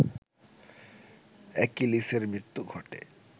অ্যাকিলিসের মৃত্যু ঘটে